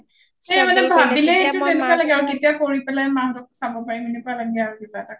সেই মানে ভাবিলেই সেইটো তেনেকুৱা লাগে কেতিয়া কৰি পেলাই মা হতক চাব পাৰিম সেনেকুৱা লাগেৰো কিবা এটা